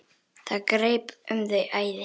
Það greip þau æði.